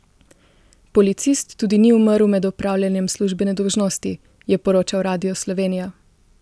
Policist tudi ni umrl med opravljanjem službene dolžnosti, je poročal Radio Slovenija.